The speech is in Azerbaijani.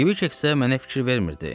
Kvikek isə mənə fikir vermirdi.